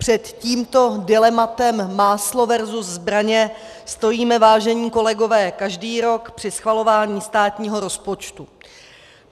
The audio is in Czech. Před tímto dilematem máslo versus zbraně stojíme, vážení kolegové, každý rok při schvalování státního rozpočtu.